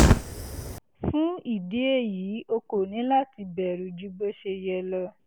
fún ìdí èyí o kò ní láti bẹ̀rù ju bó ṣe yẹ lọ